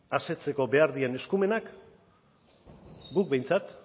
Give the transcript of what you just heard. asetzeko behar diren eskumenek guk behintzat